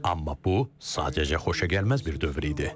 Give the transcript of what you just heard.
Amma bu sadəcə xoşagəlməz bir dövr idi.